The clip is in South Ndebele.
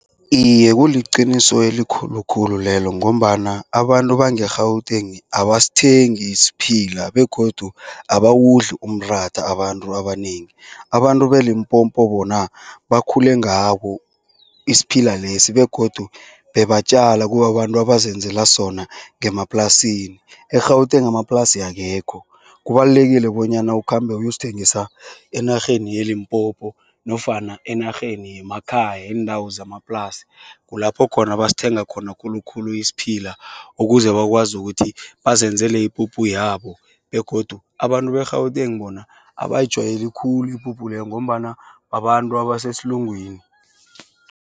Iye, kuliqiniso elikhulukhulu lelo ngombana abantu bange-Gauteng abasathengi isiphila begodu abawudli umratha abantu abanengi. Abantu be-Limpopo bona bakhule ngabo isiphila lesi begodu bebatjala kubabantu abazenzela sona ngemaplasini. EGauteng amaplasi akekho kubalulekile bonyana ukhambe uyosithengisa enarheni ye-Limpopo nofana enarheni yemakhaya iindawo zamaplasi. Kulapho khona abasithenga khona khulukhulu isiphila ukuze bakwazi ukuthi bazenzele ipuphu yabo begodu abantu be-Gauteng bona abayijwayeli khulu ipuphu leyo ngombana babantu baseselungwini.